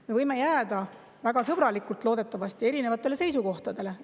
Me võime jääda – väga sõbralikult, loodetavasti – erinevatele seisukohtadele.